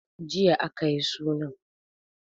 Jiya a ka yi sunan.